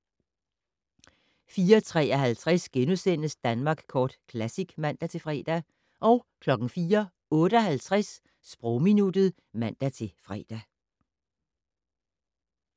04:53: Danmark Kort Classic *(man-fre) 04:58: Sprogminuttet (man-fre)